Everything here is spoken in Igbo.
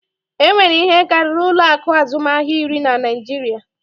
E nwere ihe karịrị ụlọ akụ azụmahịa iri na Naịjiria